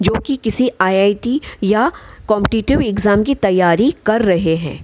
जोकि किसी आई.आई.टी. या कॉम्पटेटिव एग्जाम की तैयारी रहे है।